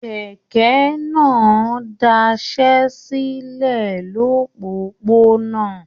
Kẹkẹ náà dasẹ́ silẹ lopopona.